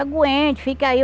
Aguente, fica aí.